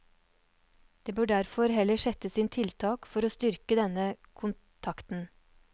Det bør derfor heller settes inn tiltak for å styrke denne kontakten.